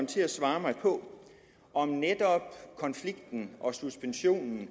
til at svare mig på om netop konflikten og suspensionen